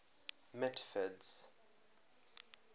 mitford's